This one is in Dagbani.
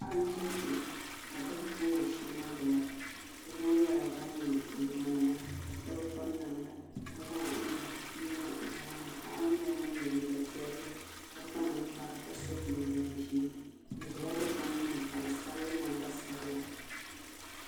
Paɣa nʒɛ kpɛ ka bihi bob o sheeni gbuba bihi ŋɔ nyɛla ban yɛ liiga nima ka so bi piri namda ka zaŋ o nuu n niŋ o nyoɣani paɣa ŋɔ nyɛla ŋun yɛ liiga piɛlli ka kpa ninkpara ka so jinjɛm ʒiɛ o ʒɛla dikpuni gbuni ka bi sabili namba sabila